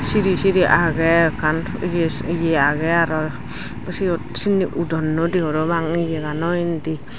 siri siri agey ekkan ye agey aro seyot sindi udondoidey parapang ye gano indi.